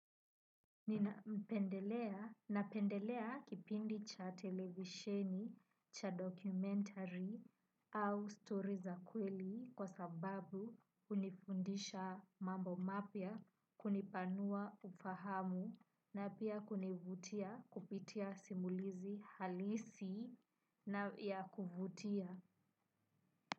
Ninapendelea kipindi cha televisheni, cha documentary au story za kweli kwa sababu hunifundisha mambo mapya, kunipanua ufahamu na pia kunivutia kupitia simulizi halisi na ya kuvutia.